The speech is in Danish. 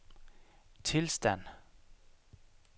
tilstand